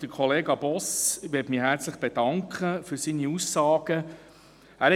Bei Kollege Boss möchte ich mich für seine Aussagen herzlich bedanken.